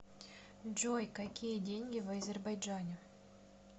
джой какие деньги в азербайджане